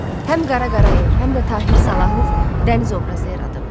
Həm Qara Qarayev, həm də Tahir Salahov dəniz obrazı yaradıb.